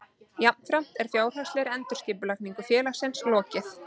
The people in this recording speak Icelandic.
Jafnframt er fjárhagslegri endurskipulagningu félagsins lokið